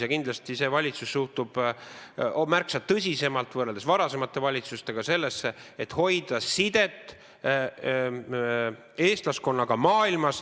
Ja kindlasti suhtub see valitsus võrreldes varasemate valitsustega märksa tõsisemalt sellesse, et hoida sidet mujal maailmas oleva eestlaskonnaga.